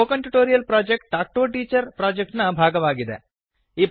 spoken tutorial project talk to a teacher project ನ ಭಾಗವಾಗಿದೆ